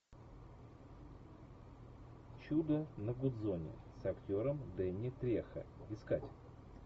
чудо на гудзоне с актером дэнни трехо искать